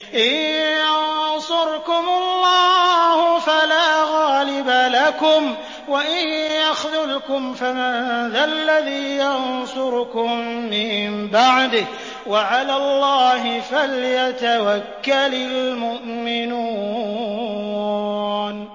إِن يَنصُرْكُمُ اللَّهُ فَلَا غَالِبَ لَكُمْ ۖ وَإِن يَخْذُلْكُمْ فَمَن ذَا الَّذِي يَنصُرُكُم مِّن بَعْدِهِ ۗ وَعَلَى اللَّهِ فَلْيَتَوَكَّلِ الْمُؤْمِنُونَ